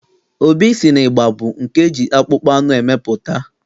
Obi sị na ịgba bụ nke eji akpụkpọ anụ emepụta.